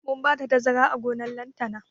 Mun bada tazara a gonan lantana